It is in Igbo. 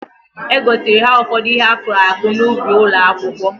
E gosiri ha ụfọdụ ihe akụrụ akụ n'ubi ụlọakwụkwọ